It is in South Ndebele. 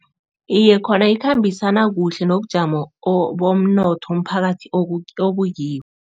Iye, khona ikhambisana kuhle nobujamo bomnotho umphakathi obukibo.